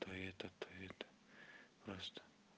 ты это ты